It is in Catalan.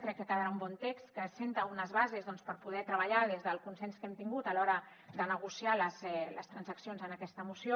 crec que quedarà un bon text que assenta unes bases per poder treballar des del consens que hem tingut a l’hora de negociar les transaccions en aquesta moció